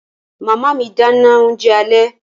Màmá mi dáná oúnjẹ alẹ́